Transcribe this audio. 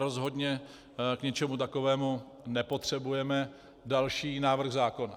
Rozhodně k ničemu takovému nepotřebujeme další návrh zákona.